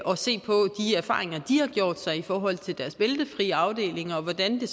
og se på de erfaringer de har gjort sig i forhold til deres bæltefri afdelinger og hvordan det